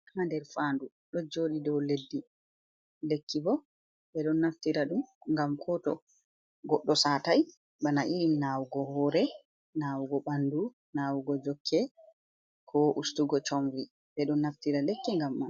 Lekki haa nder faandu ɗo jooɗi dow leddi. Lekki bo ɓe ɗon naftira ɗum ,ngam ko goɗɗo saatay bana irin nawugo hoore, nawugo ɓanndu ,nawugo jokke ,ko ustugo comri, ɓe ɗon naftira lekki ngam man.